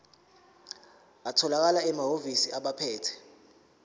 atholakala emahhovisi abaphethe